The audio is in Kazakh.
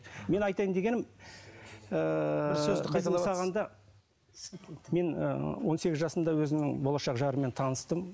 мен айтайын дегенім ыыы мен ы он сегіз жасымда өзімнің болашақ жарыммен таныстым